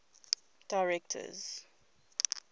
directors